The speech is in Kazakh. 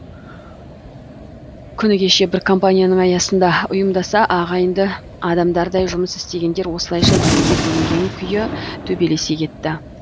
күні кеше бір компанияның аясында ұйымдаса ағайынды адамдардай жұмыс істегендер осылайша екіге бөлінген күйі төбелесе кетті